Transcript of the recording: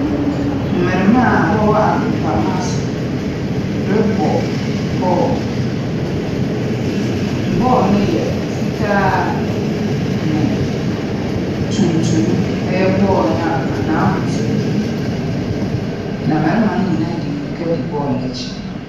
Mmɛremma aa wɔwɔ agoprama so rebɔ bɔɔl. Bɔɔl no yɛ fitaa ne tuntum ɛyɛ bɔɔl n'ahusu. Na mmɛremma no nyinaa de mmreka de bɔɔl n'akyi.